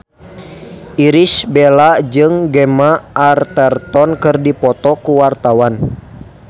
Irish Bella jeung Gemma Arterton keur dipoto ku wartawan